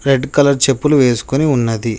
Red colour చెప్పులు వేసుకుని ఉన్నది.